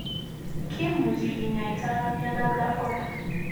Kimuche kinyaita ano miondap Lafora.